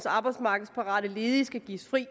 arbejdsmarkedsparate ledige skal gives fri